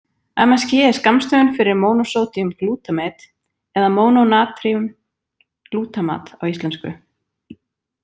MSG er skammstöfun fyrir monosodium glutamate eða mónónatrín glútamat á íslensku.